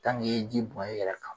i ye ji bɔn i yɛrɛ kan